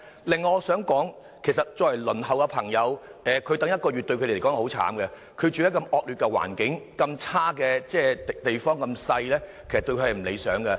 另外，我想說的是，要輪候中的市民再等一個月，對他們來說是很慘的，他們住在環境惡劣和狹小的地方，其實並不理想。